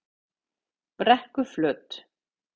Brekkuflöt